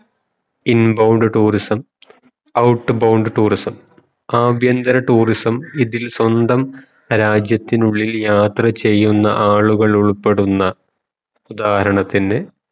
in bound tourismout bound tourism ആഭ്യന്തര tourism ഇതിൽ സ്വന്തം രാജ്യത്തിനുള്ളിൽ യാത്ര ചെയുന്ന ആളുകൾ ഉൾപ്പെടുന്ന ഉദാഹരണത്തിന്ന്